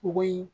K'o yi